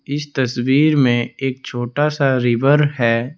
इस तस्वीर में एक छोटा सा रिवर है।